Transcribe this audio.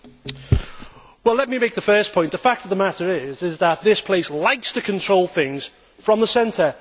Mr President, let me make the first point. The fact of the matter is that this place likes to control things from the centre.